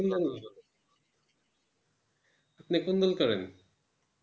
আপনি কুন দল করেন?